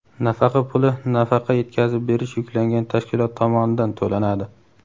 Nafaqa puli nafaqa yetkazib berish yuklangan tashkilot tomonidan to‘lanadi.